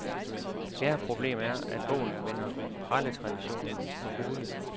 Fjerde problem er, at bogen vender praletraditionen på hovedet.